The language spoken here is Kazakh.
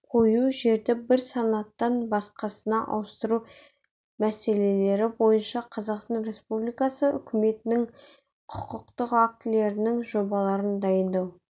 қою жерді бір санаттан басқасына ауыстыру мәселелері бойынша қазақстан республикасы үкіметінің құқықтық актілерінің жобаларын дайындау